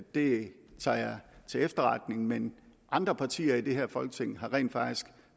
det tager jeg til efterretning men andre partier i det her folketing har rent faktisk